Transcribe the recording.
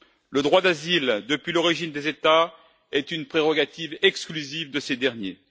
Le droit d'asile, depuis l'origine des États, est une prérogative exclusive de ces derniers.